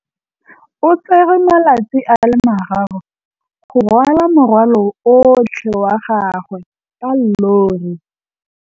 O tsere malatsi a le marraro go rwala morwalo otlhe wa gagwe ka llori.